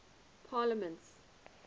parliaments